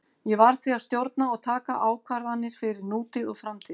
Ég verð því að stjórna og taka ákvarðanir fyrir nútíð og framtíð.